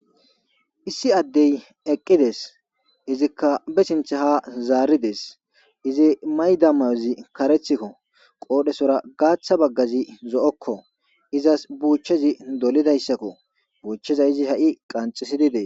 Issi addee eqqi des; izikka be sinththe haa zaari des; izi mayida mayozi kareththiko; qoodhetura gaaththa baggathi zo7okkoo; izas buuchchazi dolidayssakoo; buuchchizayssi ha7i qanxxissidi des.